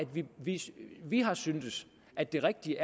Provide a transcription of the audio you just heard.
vi har syntes at det rigtige